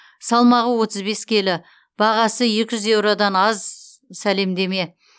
салмағы отыз бес келі бағасы екі жүз еуродан аз сәлемдеме